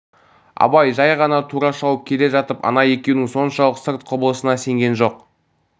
абай жай ғана тұра шауып келе жатып ана екеуінің соншалық сырт құбылысына сенген жоқ